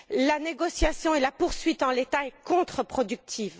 La négociation et sa poursuite en l'état est contreproductive.